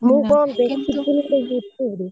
ମୁଁ କଣ ଦେଖିଥିଲି ଗୋଟେ YouTube ଋ।